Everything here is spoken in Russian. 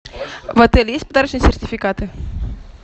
в отеле есть подарочные сертификаты